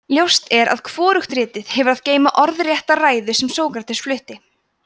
ljóst er að hvorugt ritið hefur að geyma orðrétta ræðuna sem sókrates flutti